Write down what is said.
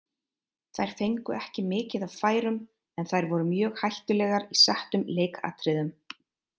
Þær fengu ekki mikið af færum en þær voru mjög hættulegar í settum leikatriðum.